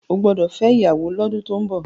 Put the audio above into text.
o gbódò fè ìyàwó l'ọdun tó ń bó!